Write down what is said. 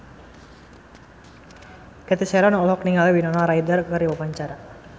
Cathy Sharon olohok ningali Winona Ryder keur diwawancara